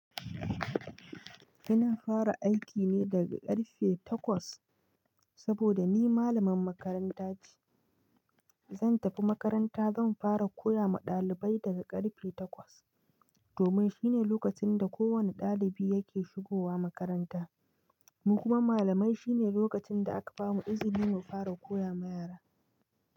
Ina fara aiki ne daga karfe takwas saboda ni malaman makaranta ce. Zan tafi makaranta, zan fara koya ma ɗalibai daga karfe takwas. Domin shi ne lokacin da kowane ɗalibi yake shigowa makaranta. Mu kuma malamai shi ne lokacin da aka bamu izini mu fara koya ma yara.